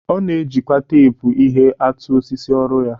Ọ na-ejikwa teepu ihe atụ osisi ọrụ ya.